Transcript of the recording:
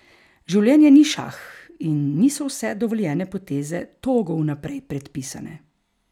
Življenje ni šah in niso vse dovoljene poteze togo vnaprej predpisane.